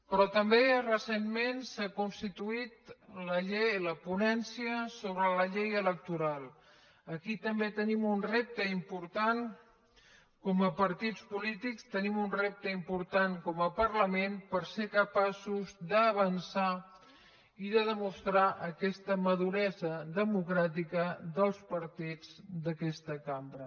però també recentment s’ha constituït la ponència sobre la llei electoral aquí també tenim un repte important com a partits polítics tenim un repte important com a parlament per ser capaços d’avançar i de demostrar aquesta maduresa democràtica dels partits d’aquesta cambra